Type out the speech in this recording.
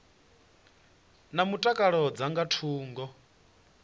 na mutakalo dza nga thungo